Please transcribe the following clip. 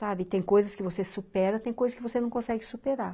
Sabe, tem coisas que você supera, tem coisas que você não consegue superar.